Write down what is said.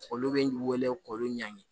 Olu bɛ wele k'olu ɲangi